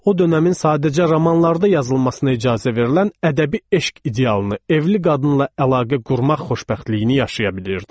O dövrün sadəcə romanlarda yazılmasına icazə verilən ədəbi eşq idealını evli qadınla əlaqə qurmaq xoşbəxtliyini yaşaya bilirdi.